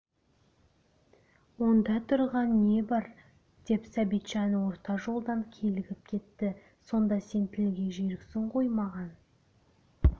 онда тұрған не бар деп сәбитжан орта жолдан килігіп кетті сонда сен тілге жүйріксің ғой маған